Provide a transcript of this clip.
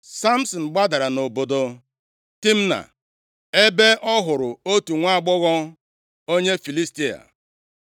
Samsin gbadara nʼobodo Timna + 14:1 Timna bụ otu obodo nʼihe nketa ebo Dan \+xt Jos 19:43\+xt* Ọ bụ obodo ndị Filistia, tupu ndị Izrel e merie ha. ebe ọ hụrụ otu nwaagbọghọ onye Filistia.